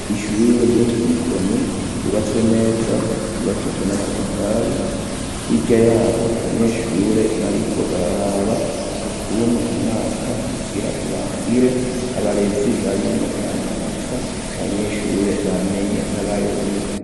Ishure ryo ku mukoni ryubatswe neza ,ryubakishijwe n'amatafari, hirya yaho abanyeshure bariko bararaba ukuntu umwaka ugira urangire, abarezi barimwo baramanika abanyeshure bamenye n'abayobewe.